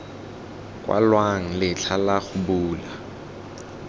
kwalwang letlha la go bula